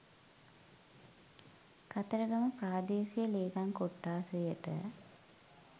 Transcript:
කතරගම ප්‍රාදේශීය ලේකම් කොට්ඨාශයට